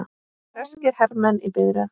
Breskir hermenn í biðröð.